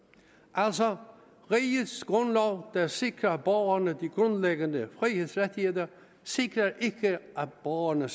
altså rigets grundlov der sikrer borgerne de grundlæggende frihedsrettigheder sikrer ikke at borgerne